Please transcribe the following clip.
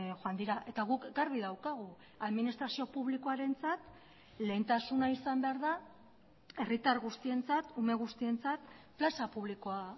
joan dira eta guk garbi daukagu administrazio publikoarentzat lehentasuna izan behar da herritar guztientzat ume guztientzat plaza publikoa